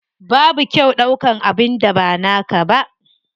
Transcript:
Babu kyau ɗaukan abin da ba naka ba.